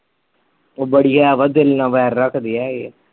ਓਹ ਬੜੀ ਹੈ ਵਾ, ਦਿਲ ਨਾ ਵੈਰ ਰੱਖਦੀ ਆ ਇਹ